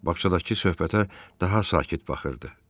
Bağçadakı söhbətə daha sakit baxırdı.